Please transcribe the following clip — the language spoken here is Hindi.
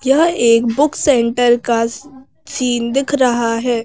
यह एक बुक सेंटर का सीन दिख रहा हैं।